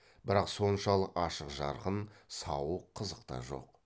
бірақ соншалық ашық жарқын сауық қызық та жоқ